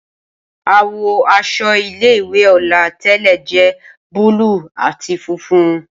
Awọ aṣọ ile-iwe Ola tẹlẹ jẹ búlúù ati funfun.